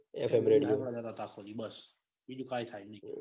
F M radio જ વગાડતા. આખો દિવસ બસ બીજું કઈ થાય નઈ.